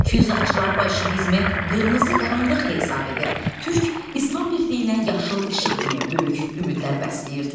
Füyuzatçılar bolşevizmi qırmızı qaranlıq hesab edir, türk-islam birliyinə yaşıl işıq kimi böyük ümidlər bəsləyirdilər.